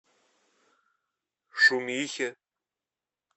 шумихе